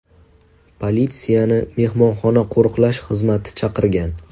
Politsiyani mehmonxona qo‘riqlash xizmati chaqirgan.